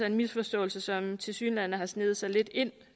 en misforståelse som tilsyneladende har sneget sig lidt ind